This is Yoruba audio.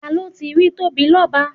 Ta ló ti rí Tóbilọ́ba?